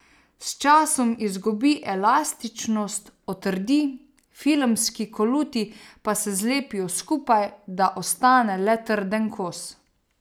S časom izgubi elastičnost, otrdi, filmski koluti pa se zlepijo skupaj, da ostane le trden kos.